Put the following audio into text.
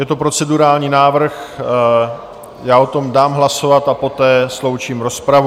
Je to procedurální návrh, já o tom dám hlasovat a poté sloučím rozpravu.